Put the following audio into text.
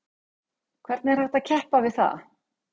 Hvernig er hægt að keppa við það?